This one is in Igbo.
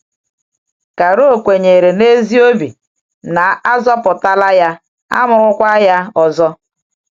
Charo kwenyere n’ezi obi na e zọpụtaala ya, a mụrụkwa ya ọzọ.